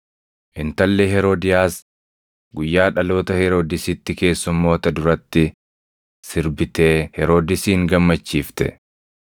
Intalli Heroodiyaas guyyaa dhaloota Heroodisitti keessummoota duratti sirbitee Heroodisin gammachiifte;